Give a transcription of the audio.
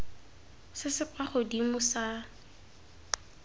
se se kwa godimo sa